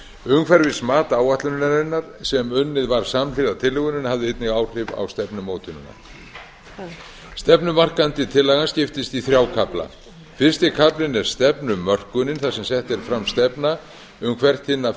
umhverfismat áætlunarinnar sem unnið var samhliða tillögunni hafði einnig áhrif á stefnumótunina stefnumarkandi tillagan skiptist í þrjá kafla fyrsti kaflinn er stefnumörkunin þar sem sett er fram stefna um hvert hinna